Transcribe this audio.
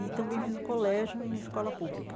E também fiz o colégio em escola pública.